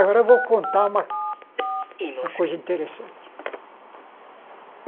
Agora eu vou contar uma uma coisa interessante.